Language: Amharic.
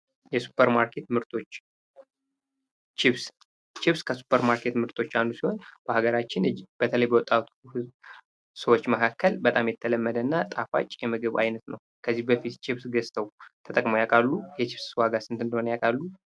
የሱፐር ማርኬት ምርቶች ችፕስ ችፕስ ከሱፐር ማርኬት ምርቶች አንዱ ሲሆን በሀገራችን በተለይ በወጣቱ ሰዎች መካከል በጣም የተለመደ እና ጣፋጭ የምግብ አይነት ነው። ከዚህ በፊት ችፕስ ገዝተው ተጠቅመው ያውቃሉ? የችፕስ ዋጋስ ስንት እንደሆነ ያውቃሉ?